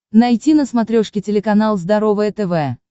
найти на смотрешке телеканал здоровое тв